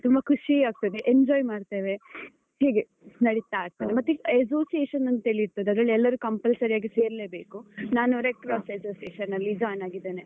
ತುಂಬಾ ಖುಷಿ ಆಗ್ತದೆ enjoy ಮಾಡ್ತೇವೆ. ಹೀಗೆ, ನಡೀತಾ ಇರ್ತದೆ. ಮತ್ತೆ association ಅಂತ ಇರ್ತದೆ, ಅದ್ರಲ್ಲಿ ಎಲ್ಲರೂ compulsory ಆಗಿ ಸೇರ್ಲೇ ಬೇಕು. ನಾನು Red Cross Association ಅಲ್ಲಿ join ಆಗಿದ್ದೇನೆ.